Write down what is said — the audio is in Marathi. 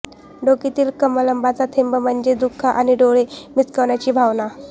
डोकेतील कलमांचा थेंब म्हणजे दुःख आणि डोळे मिचकावण्याची भावना